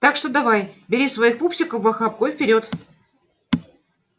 так что давай бери своих пупсиков в охапку и вперёд